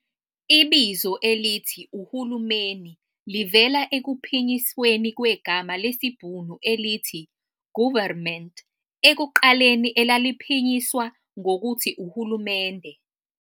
Ibizo elithi 'uhulumeni' livela ekuphinyisweni kwegama lesibhunu elithi 'goerverment', ekuqaleni elaliphinyiswa ngokuthi 'uhulumende'.